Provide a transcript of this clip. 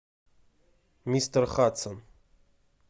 мистер хадсон